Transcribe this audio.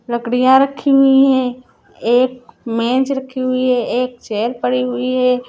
लकड़ियाँ रखी हुई हैं एक मेज रखी हुई हे एक चेयर पड़ी हुई हे ।